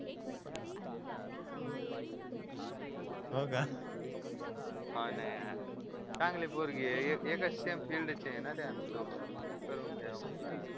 हो का हो ना यार चांगली पोरगी आहे एकाच सेम फिल्डचे आहे ना रे दोघांनी मग करून घ्या म्हणलं आता